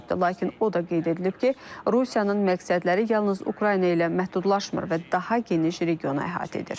Lakin o da qeyd edilib ki, Rusiyanın məqsədləri yalnız Ukrayna ilə məhdudlaşmır və daha geniş regionu əhatə edir.